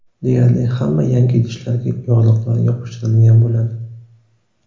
Deyarli hamma yangi idishlarga yorliqlar yopishtirilgan bo‘ladi.